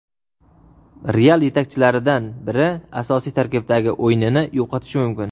"Real" yetakchilaridan biri asosiy tarkibdagi o‘rnini yo‘qotishi mumkin.